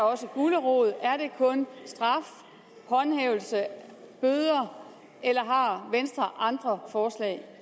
også gulerod er det kun straf håndhævelse bøder eller har venstre andre forslag